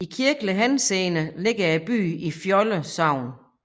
I kirkelig henseende ligger byen i Fjolde Sogn